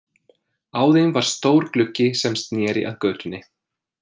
Á þeim var stór gluggi sem sneri að götunni.